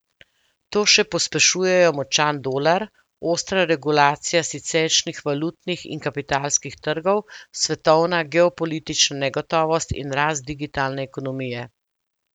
To še pospešujejo močan dolar, ostra regulacija siceršnjih valutnih in kapitalskih trgov, svetovna geopolitična negotovost in rast digitalne ekonomije.